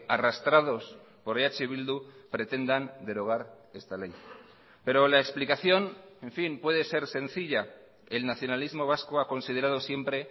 arrastrados por eh bildu pretendan derogar esta ley pero la explicación en fin puede ser sencilla el nacionalismo vasco ha considerado siempre